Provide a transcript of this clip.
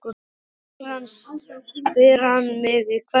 spyr hann mig í hvert skipti.